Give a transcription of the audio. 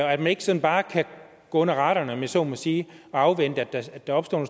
og at man ikke sådan bare kan gå under radaren om jeg så må sige og afvente at der opstår